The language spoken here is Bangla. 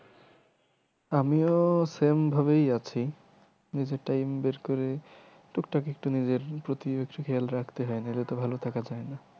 আমিও same ভাবেই আছি time বের করে টুকটাক একটু নিজের প্রতি খেয়াল রাখতে হয় নাহলে তো ভালো থাকা যায়না।